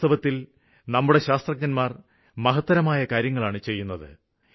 വാസ്തവത്തില് നമ്മുടെ ശാസ്ത്രജ്ഞര് മഹത്തരമായ കാര്യങ്ങളാണ് ചെയ്യുന്നത്